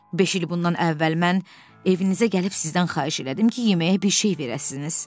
Beş il bundan əvvəl mən evinizə gəlib sizdən xahiş elədim ki, yeməyə bir şey verəsiniz.